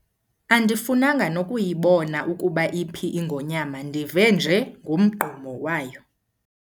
Andifunanga nokuyibona ukuba iphi ingonyama ndive nje ngomgqumo wayo.